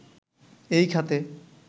এই খাতে